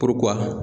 Puruk'u ka